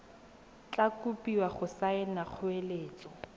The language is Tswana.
tla kopiwa go saena kgoeletso